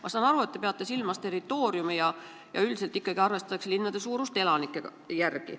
Ma saan aru, et te peate silmas territooriumi, aga üldiselt ikkagi arvestatakse linnade suurust elanike arvu järgi.